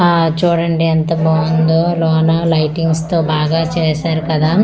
ఆ చూడండి ఎంత బావుందో లోన లైటింగ్స్ తో బాగా చేశారు కదా.